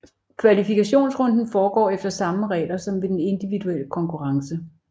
Kvalifikationsrunden foregår efter samme regler som ved den individuelle konkurrence